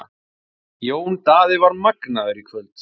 Jón Daði var magnaður í kvöld.